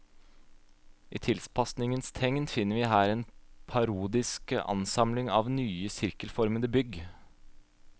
I tilpasningens tegn finner vi her en parodisk ansamling av nye sirkelformede bygg.